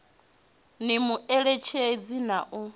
ni mu eletshedze na u